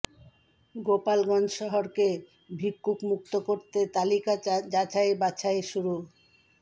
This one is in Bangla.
গোপালগঞ্জ শহরকে ভিক্ষুক মুক্ত করতে তালিকা যাচাই বাছাই শুরু